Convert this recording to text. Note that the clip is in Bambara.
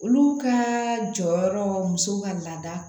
Olu ka jɔyɔrɔ muso ka laada